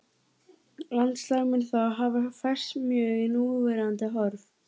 Landslag mun þá hafa færst mjög í núverandi horf.